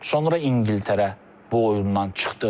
Sonra İngiltərə bu oyundan çıxdı.